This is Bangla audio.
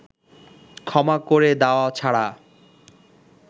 ক্ষমা করে দেওয়া ছাড়া